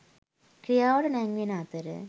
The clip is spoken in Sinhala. ක්‍රියාවට නැංවෙන අතර